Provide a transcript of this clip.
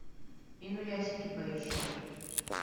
инуясики поищи